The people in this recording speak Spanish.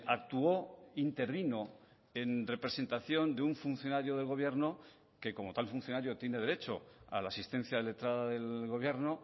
actuó intervino en representación de un funcionario del gobierno que como tal funcionario tiene derecho a la asistencia letrada del gobierno